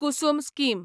Kusum scheme